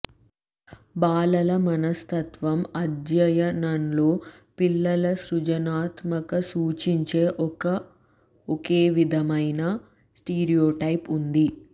బాలల మనస్తత్వం అధ్యయనంలో పిల్లల సృజనాత్మక సూచించే ఒక ఒకేవిధమైన స్టీరియోటైప్ ఉంది